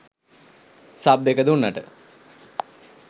Sub එක දුන්නට.